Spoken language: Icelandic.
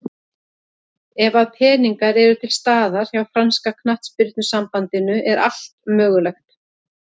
Ef að peningar eru til staðar hjá franska knattspyrnusambandinu er allt mögulegt.